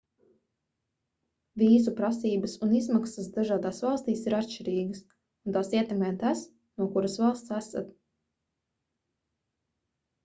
vīzu prasības un izmaksas dažādās valstīs ir atšķirīgas un tās ietekmē tas no kuras valsts esat